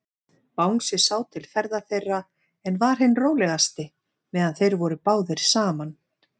Bangsi sá til ferða þeirra, en var hinn rólegasti, meðan þeir voru báðir saman.